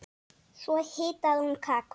Svo hitaði hún kakó.